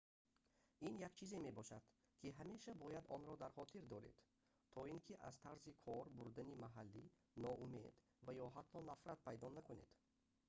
ин як чизе мебошад ки ҳамеша бояд онро дар хотир доред то ин ки аз тарзи кор бурдани маҳаллӣ ноумед ва ё ҳатто нафрат пайдо накунед